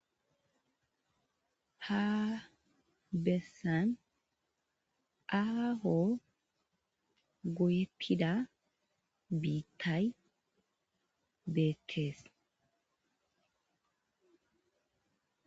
Haa bessan aaho goyttida biththay bethees.